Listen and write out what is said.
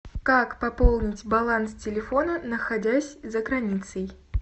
как пополнить баланс телефона находясь за границей